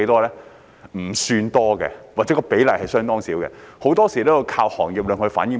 不算多，或者比例相當少，很多時候也要依靠行業向局方反映。